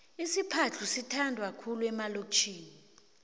isiphadhlu sithandwa khulu emalokitjhini